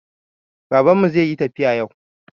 Baban mu zai yi tafiya yau